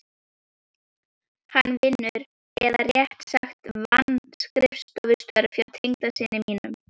Hann vinnur- eða réttara sagt vann- skrifstofustörf hjá tengdasyni mínum